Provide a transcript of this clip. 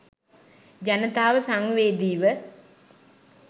ජනතාව සංවේදීව